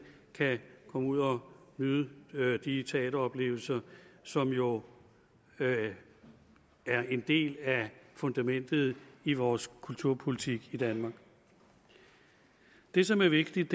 kan komme ud og nyde de teateroplevelser som jo er en del af fundamentet i vores kulturpolitik i danmark det som er vigtigt